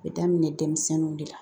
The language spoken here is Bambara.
A bɛ daminɛ denmisɛnninw de la